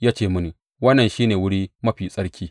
Ya ce mini, Wannan shi ne Wuri Mafi Tsarki.